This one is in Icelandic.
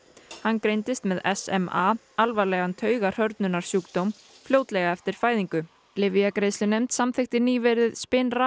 hann greindist með SMA alvarlegan taugahrörnunarsjúkdóm fljótlega eftir fæðingu lyfjagreiðslunefnd samþykkti nýverið